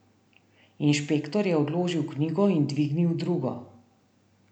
Inšpektor je odložil knjigo in dvignil drugo.